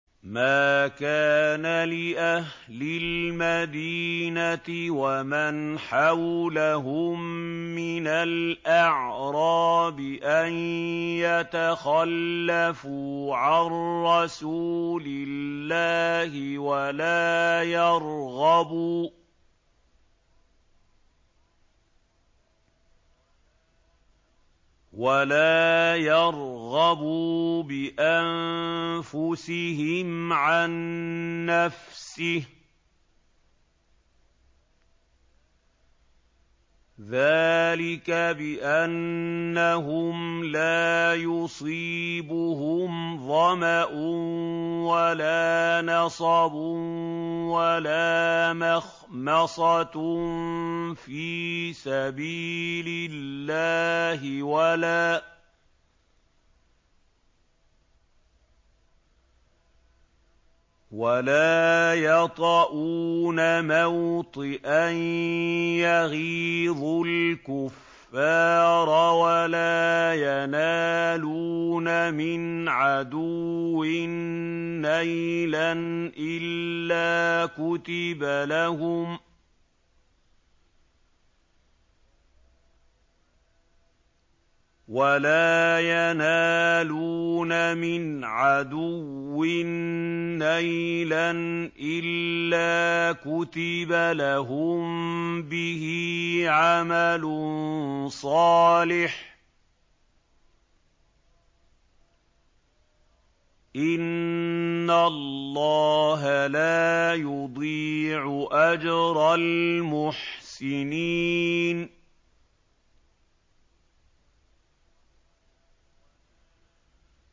مَا كَانَ لِأَهْلِ الْمَدِينَةِ وَمَنْ حَوْلَهُم مِّنَ الْأَعْرَابِ أَن يَتَخَلَّفُوا عَن رَّسُولِ اللَّهِ وَلَا يَرْغَبُوا بِأَنفُسِهِمْ عَن نَّفْسِهِ ۚ ذَٰلِكَ بِأَنَّهُمْ لَا يُصِيبُهُمْ ظَمَأٌ وَلَا نَصَبٌ وَلَا مَخْمَصَةٌ فِي سَبِيلِ اللَّهِ وَلَا يَطَئُونَ مَوْطِئًا يَغِيظُ الْكُفَّارَ وَلَا يَنَالُونَ مِنْ عَدُوٍّ نَّيْلًا إِلَّا كُتِبَ لَهُم بِهِ عَمَلٌ صَالِحٌ ۚ إِنَّ اللَّهَ لَا يُضِيعُ أَجْرَ الْمُحْسِنِينَ